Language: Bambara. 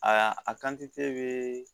Aa a be